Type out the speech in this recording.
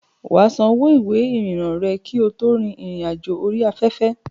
Wà á san owó ìwé ìrìnnà rẹ kí o tó rin ìrìn àjò orí afẹ́fẹ́.